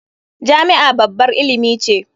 Jami'a babbar ilimi ce.